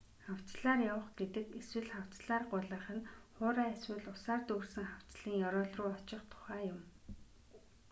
хавцлаар явах гэдэг эсвэл: хавцлаар гулгах нь хуурай эсвэл усаар дүүрсэн хавцлын ёроол руу очих тухай юм